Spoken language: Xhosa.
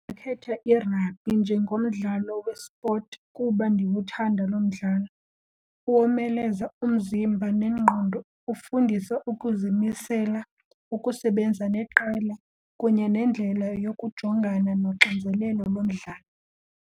khetha iragbhi njengomdlalo wespot kuba ndiwuthanda lo mdlalo. Womeleza umzimba nengqondo ufundisa ukuzimisela, ukusebenza neqela kunye nendlela yokujongana noxinzelelo lomdlalo.